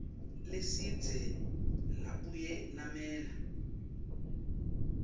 lesidze labuye lamela